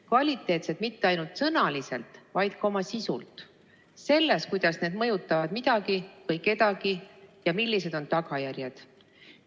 Kvaliteetsed mitte ainult sõnaliselt, vaid ka oma sisus, selles, kuidas nad mõjutavad midagi või kedagi ja millised on tagajärjed.